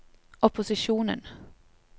opposisjonen